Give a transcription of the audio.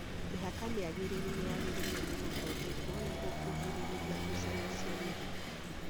Mĩhaka mĩagĩrĩru nĩ yagĩriĩirwo nĩ gũthondekwo nĩguo kũgirĩrĩria ngucanio cia mĩgũnda